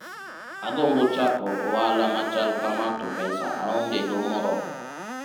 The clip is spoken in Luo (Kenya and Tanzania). agombo chako ohala machal kama to pesa aongego moromo